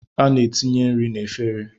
A na-ekunye nri n'efere.